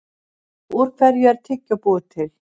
Úr hverju er tyggjó búið til?